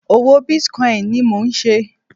Òwò bitcoin ni mò ń ṣe.